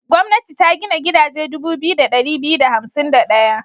Gwamnati ta gina gidaje dubu biyu da ɗari biyu da hansim da ɗaya.